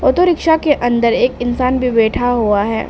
Auto rickshaw के अंदर एक इंसान भी बैठा हुआ है।